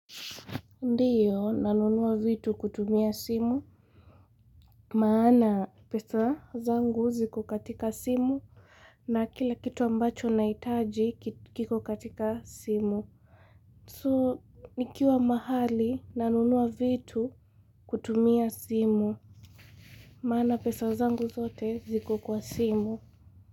Ndiyo nanunua vitu kutumia simu, maana pesa zangu ziko katika simu na kila kitu ambacho nahitaji kiko katika simu. So, nikiwa mahali nanunua vitu kutumia simu, maana pesa zangu zote ziko kwa simu.